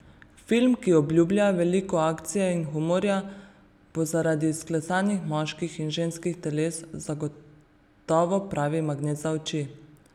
Film, ki obljublja veliko akcije in humorja, bo zaradi izklesanih moških in ženskih teles zagotovo pravi magnet za oči.